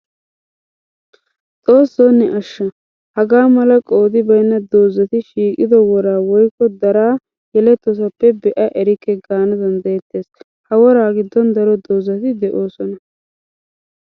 Xooso ne asha! Hagaa mala qoodi baynna doozatti shiiqiddo woraa woykko daraa yeletosappe be'a erikke gaana danddayetees. Ha woraa gidon daro doozatti de'osonna.